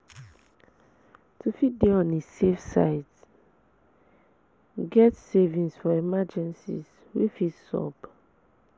To fit de on a safe side get savings for emergencies way fit sup